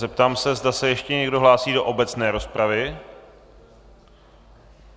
Zeptám se, zda se ještě někdo hlásí do obecné rozpravy.